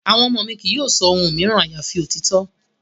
Àwọn ọmọ mi kì yóò sọ ohun mìíràn àyàfi òtítọ́.